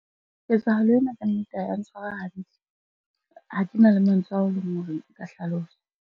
Ketsahalo ena ka nnete ha ya ntshwara hantle. Ha ke na le mantswe ao e leng hore nka hlalosa.